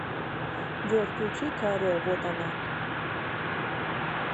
джой включи ка ре вот она